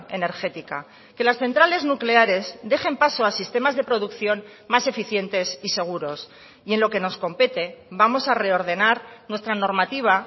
energética que las centrales nucleares dejen paso a sistemas de producción más eficientes y seguros y en lo que nos compete vamos a reordenar nuestra normativa